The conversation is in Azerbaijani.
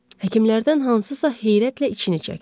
Həkimlərdən hansısa heyrətlə içini çəkdi.